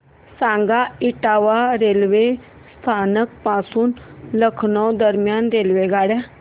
सांगा इटावा रेल्वे स्थानक पासून लखनौ दरम्यान रेल्वेगाडी